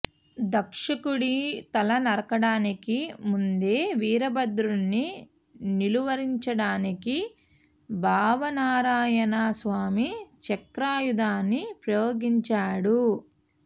దక్షుడి తల నరకడానికి ముందే వీరభద్రుడిని నిలువరించడానికి భావనారాయణ స్వామి చక్రాయుధాన్ని ప్రయోగించాడు